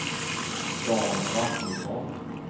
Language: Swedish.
Dan Rasmusson